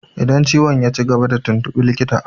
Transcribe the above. Idan ciwon yaci gaba ka tuntuɓi likita!